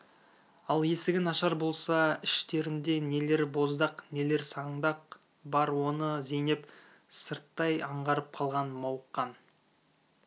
ал есігін ашар болса іштерінде нелер боздақ нелер саңдақ бар оны зейнеп сырттай аңғарып қалған мауыққан